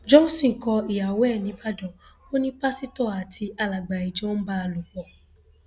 johnson kó ìyàwó ẹ nìbàdàn ò ní pásítọ àti alàgbà ìjọ ń bá a láṣepọ